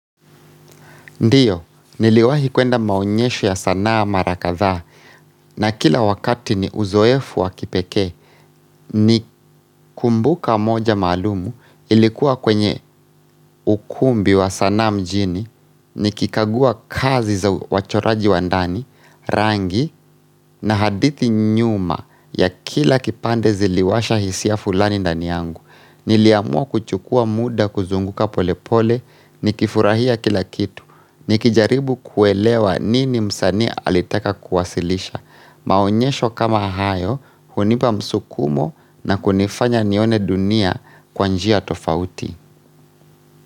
Ndiyo, niliwahi kuenda maonyesho ya sanaa marakadhaa na kila wakati ni uzoefu wa kipekee, nikumbuka moja maluumu ilikuwa kwenye ukumbi wa sanaa mjini, nikikagua kazi za wachoraji wa ndani, rangi na hadithi nyuma ya kila kipande ziliwasha hisia fulani ndani yangu. Niliamua kuchukua muda kuzunguka polepole, nikifurahia kila kitu, nikijaribu kuelewa nini msanii alitaka kuwasilisha, maonyesho kama hayo hunipa msukumo na kunifanya nione dunia kwa njia tofauti.